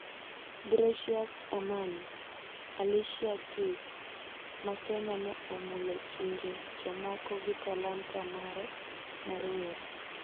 Gracious Amani: 'Alicia Keys' ma Kenya ne omulo chunje jomoko gi talanta mare mar wer.